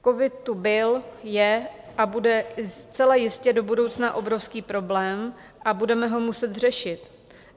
Covid tu byl, je a bude zcela jistě do budoucna obrovský problém a budeme ho muset řešit.